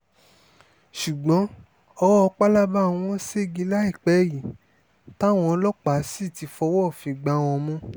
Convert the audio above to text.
ṣùgbọ́n ọwọ́ pálábá wọn ṣẹ́gi láìpẹ́ yìí táwọn ọlọ́pàá sì ti fọwọ́ òfin gbá wọn mú